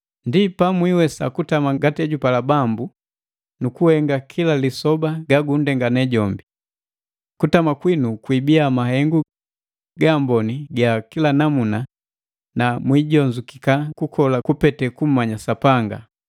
Ndi pamwiwesa kutama ngati ejupala Bambu nu kuhenga kila lisoba ga gundengane jombi. Kutama kwinu kuibiya mahengu ga amboni ga kila namuna na mwijonzukika kukola kupete kummanya Sapanga.